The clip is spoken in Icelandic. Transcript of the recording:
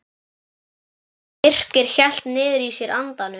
Birkir hélt niðri í sér andanum.